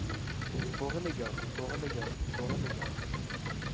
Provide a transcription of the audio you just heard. foreligger foreligger foreligger